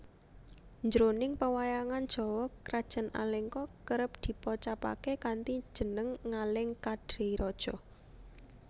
Jroning pewayangan Jawa krajan Alengka kerep dipocapaké kanthi jeneng Ngalengkadiraja